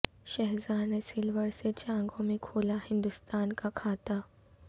شھزار نے سلور سے چانگون میں کھولا ہندستان کا کھاتہ